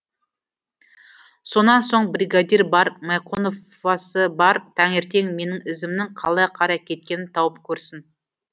сонан соң бригадир бар майқоновасы бар таңертең менің ізімнің қалай қарай кеткенін тауып көрсін